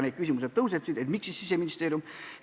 Küsiti, miks ikkagi Siseministeerium.